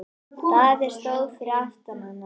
Daði stóð fyrir aftan hann.